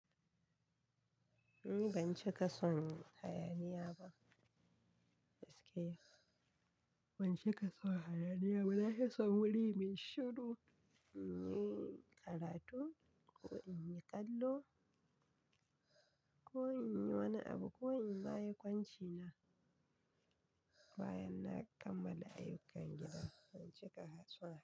Ni ban cika son hayaniya ba, gaskiya. Ban cika son hayaniya ba, nafi son wuri mai shiru in yi karatu ko in yi kallo ko in yi wani abu ko in ma yi kwanci na. Bayan na kammala ayyukan gida, ban cika hatsi ba.